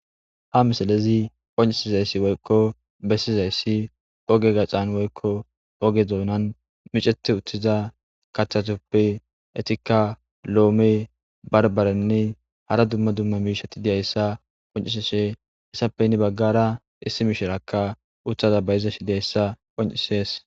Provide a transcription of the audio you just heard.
ha misalezi qoncisizayssi woykko bessizayssi oge gaxan woykko oge doonan miceti uttiza kathatuppe etikka lo7ome barbarenne hara dumma dumma miisheti diyayssa qoncisishe essappe inni baggara issi mishirakka uthaza bayiza shi diyayssa qoncisees